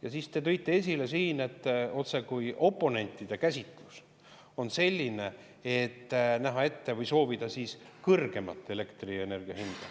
Ja siis te tõite siin esile, otsekui oponentide käsitlus on selline, et me soovime kõrgemat elektrienergia hinda.